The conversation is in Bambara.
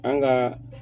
An ka